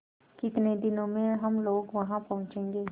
कितने दिनों में हम लोग वहाँ पहुँचेंगे